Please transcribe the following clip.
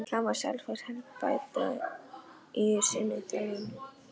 Hvað má Selfoss helst bæta í sinni þjálfun?